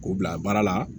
K'u bila baara la